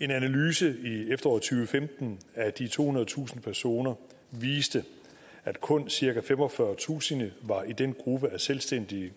en analyse i efteråret og femten af de tohundredetusind personer viste at kun cirka femogfyrretusind var i den gruppe af selvstændige